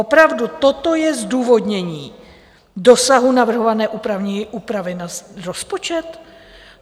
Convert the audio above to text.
Opravdu, toto je zdůvodnění dosahu navrhované úpravy na rozpočet?